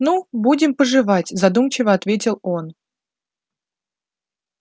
ну будем поживать задумчиво отвечает он